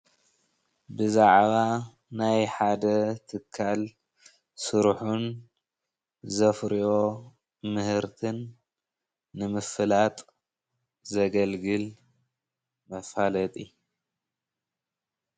ብዛዕባ ናይ ሓደ ትካል ስርሑን ዘፍርዮ ምህርትን ንምፍላጥ ዘገልግል መፋለጢ።